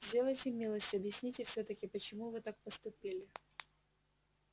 сделайте милость объясните всё-таки почему вы так поступили